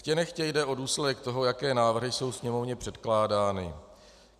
Chtě nechtě jde o důsledek toho, jaké návrhy jsou Sněmovně předkládány.